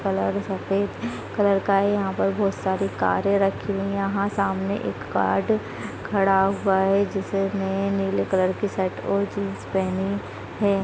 इसपे कलर सफ़ेद कलर का है यहाँ पर बहुत सारी कार रखी हुई है यहाँ सामने एक गार्ड खड़ा हुआ है जिसने नीले कलर की शर्ट और जीन्स पहनी है।